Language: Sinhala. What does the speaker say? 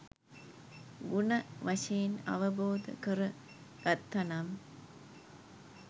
ගුණ වශයෙන් අවබෝධ කරගත්ත නම්